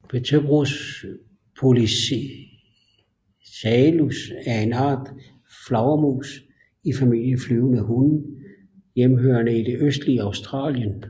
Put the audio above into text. Pteropus poliocephalus er en art af flagermus i familien flyvende hunde hjemmehørende i det østlige Australien